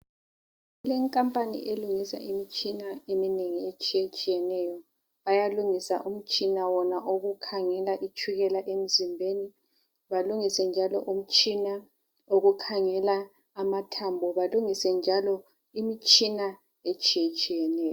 Kulekhampani elungisa imitshina etshiye tshiyeneyo bayalungisa umtshina wona wokukhanyisa emzimbeni balungise umtshina wokukhangela amathambo balungise njalo imitshina etshiye tshiyeneyo